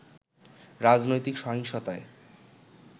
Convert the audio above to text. রাজনৈতিক সহিংসতায